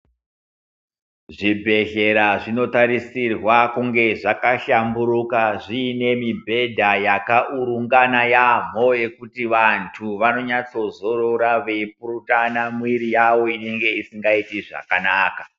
Zvibhedhlera zvinotarisirwe kunge zvakashamburuka, zviine mibhedha yakaurungana yaampho yekuti vantu vanonyatsozorora veipurutana mwiri yavo inenge isingaiti zvakanaka.